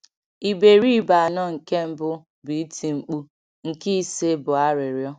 Iberibe anọ nke mbụ bụ iti-nkpu; nke ise bụ arịrịọ.